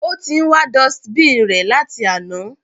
Ó ti ń wá dustbin rẹ̀ láti àná.